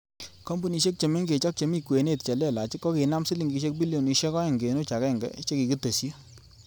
Kompunisiek che mengech ak chemi kwenet che lelach kokinaam silingisiek bilionisiek oeng kenuch agenge che kikitesyi.